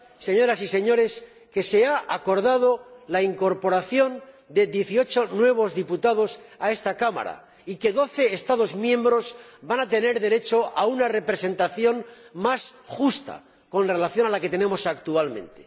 señoras y señores, que se ha acordado la incorporación de 18 nuevos diputados a esta Cámara y que 12 Estados miembros van a tener derecho a una representación más justa, frente a la que tenemos actualmente.